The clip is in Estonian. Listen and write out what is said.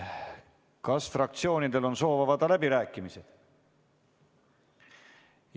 Kas fraktsioonidel on soov avada läbirääkimised?